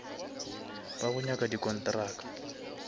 ba go nyaka di kontraka